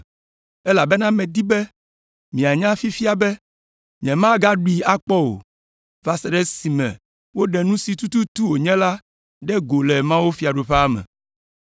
Elabena medi be mianya fifia be nyemagaɖui akpɔ o, va se ɖe esime woɖe nu si tututu wònye la ɖe go le mawufiaɖuƒea me.”